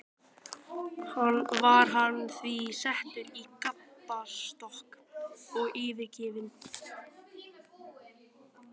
Var hann því settur í gapastokk og yfirheyrður.